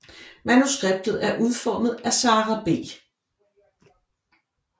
Manuskriptet er udformet af Sara B